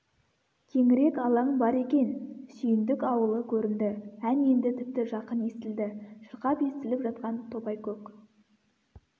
кеңірек алаң бар екен сүйіндік аулы көрінді ән енді тіпті жақын естілді шырқап естіліп жатқан топайкөк